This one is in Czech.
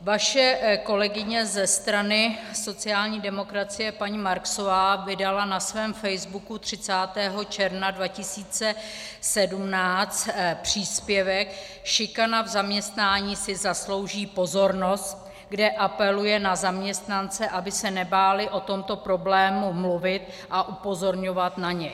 Vaše kolegyně ze strany sociální demokracie paní Marksová vydala na svém facebooku 30. června 2017 příspěvek Šikana v zaměstnání si zaslouží pozornost, kde apeluje na zaměstnance, aby se nebáli o tomto problému mluvit a upozorňovat na něj.